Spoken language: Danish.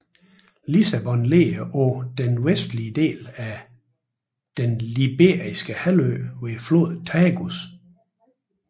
Lissabon ligger på den vestlige del af Den Iberiske Halvø ved floden Tagus